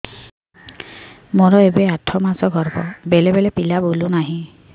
ମୋର ଏବେ ଆଠ ମାସ ଗର୍ଭ ବେଳେ ବେଳେ ପିଲା ବୁଲୁ ନାହିଁ